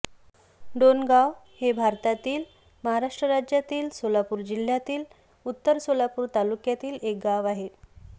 डोणगाव हे भारतातील महाराष्ट्र राज्यातील सोलापूर जिल्ह्यातील उत्तर सोलापूर तालुक्यातील एक गाव आहे